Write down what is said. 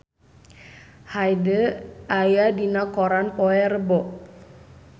Hyde aya dina koran poe Rebo